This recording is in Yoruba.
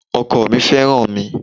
Ọkọ mi fẹ́ràn mi.